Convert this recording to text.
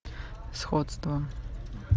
сходство